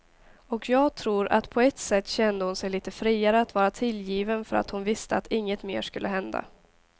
Och jag tror att på ett sätt kände hon sig lite friare att vara tillgiven för att hon visste att inget mer skulle hända.